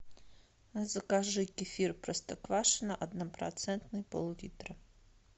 закажи кефир простоквашино однопроцентный пол литра